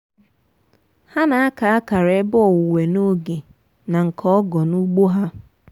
nwanne m um nwoke na-efesa mmiri um nwayọ tupu iweta akwụkwọ nri.